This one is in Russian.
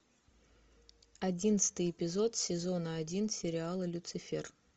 одиннадцатый эпизод сезона один сериала люцифер